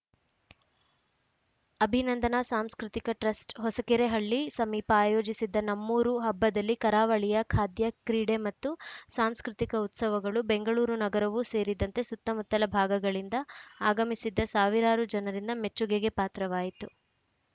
ಅಭಿನಂದನಾ Samskritika trust Hosakerehalli ಸಮೀಪ ಆಯೋಜಿಸಿದ್ದ ನಮ್ಮೂರು ಹಬ್ಬದಲ್ಲಿ ಕರಾವಳಿಯ ಖಾದ್ಯ ಕ್ರೀಡೆ ಮತ್ತು ಸಾಂಸ್ಕೃತಿಕ ಉತ್ಸವಗಳು ಬೆಂಗಳೂರು ನಗರವೂ ಸೇರಿದಂತೆ ಸುತ್ತಮುತ್ತಲ ಭಾಗಗಳಿಂದ ಆಗಮಿಸಿದ್ದ ಸಾವಿರಾರು ಜನರಿಂದ ಮೆಚ್ಚುಗೆಗೆ ಪಾತ್ರವಾಯಿತು